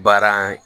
Baara